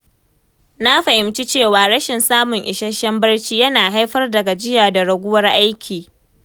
Na fahimci cewa rashin samun isasshen barci yana haifar da gajiya da raguwar aiki.